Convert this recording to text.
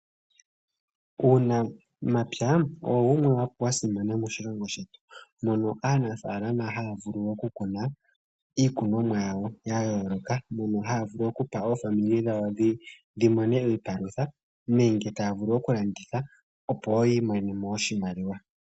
Uunamapya owo wumwe wa simana moshilongo shetu mono aanafalama haya vulu okukuna iikunomwa yawo ya yooloka mono haya vulu okupa aakwanezimo yawo ya mone iipalutha nenge taya vulu okulanditha opo wo yi imonenemo oshimaliwa.